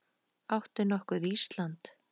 Áttu nokkuð Ísland?